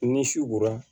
Ni su kora